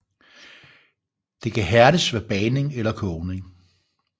Det kan hærdes ved bagning eller kogning